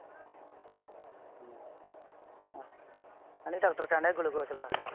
ਆਹ। ਕਹਿੰਦੇ ਡਾਕਟਰ ਕਹਿੰਦਾ ਗੁਲੂਕੋਸ ਲਾ।